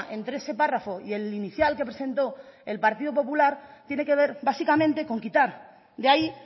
entre ese párrafo y el inicial que presentó el partido popular tiene que ver básicamente con quitar de ahí